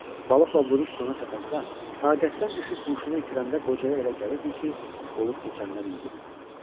Balıqla vuruş sona çatanda, taqətdən düşüb huşunu itirəndə qocaya elə gəlirdi ki, olub keçənlər yuxudur.